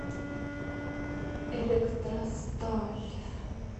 электросталь